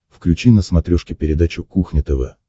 включи на смотрешке передачу кухня тв